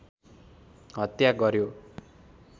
हत्या गर्‍यो